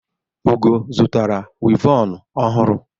Ugo zụtara wivọnụ ọhụrụ.